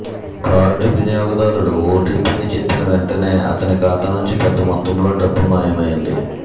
card వినియోగదారుడు ఓటిపిని చెప్పిన వెంటనే అతని ఖాతా నుంచి పెద్ద మొత్తంలో డబ్బు మాయమైంది